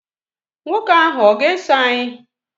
Nwoke ahụ ọ̀ ga-eso anyị?